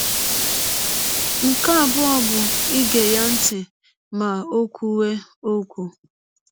Nke abụọ bụ ige ya ntị ma ọ kwụwe ọkwụ.